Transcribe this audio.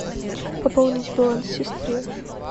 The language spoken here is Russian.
пополнить баланс сестры